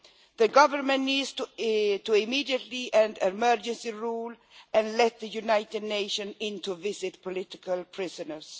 The government needs to immediately end emergency rule and let the United Nations in to visit political prisoners.